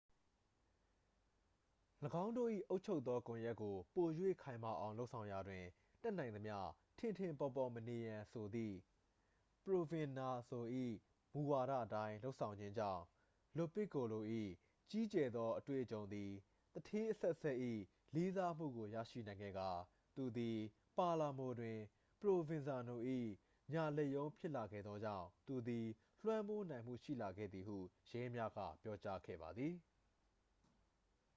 ၎င်းတို့၏အုပ်ချုပ်သောကွန်ရက်ကိုပို၍ခိုင်မာအောင်လုပ်ဆောင်ရာတွင် တတ်နိုင်သမျှ ထင်ထင်ပေါ်ပေါ်မနေရန်ဆိုသည့် ပရိုဗင်ဇာနို၏မူဝါဒအတိုင်းလုပ်ဆောင်ခြင်းကြောင့် လိုပစ်ကိုလို၏ကြီးကျယ်သောအတွေ့အကြုံသည် သူဌေးအဆက်ဆက်၏လေးစားမှုကို ရရှိနိုင်ခဲ့ကာ သူသည် ပါလာမိုတွင် ပရိုဗင်ဇာနို၏ညာလက်ရုံးဖြစ်လာခဲ့သောကြောင့် သူသည် လွှမ်းမိုးနိုင်မှုရှိလာခဲ့သည်ဟု ရဲများက ပြောကြားခဲ့ပါသည်